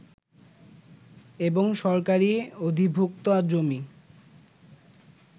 এবং সরকারি অধিভুক্ত জমি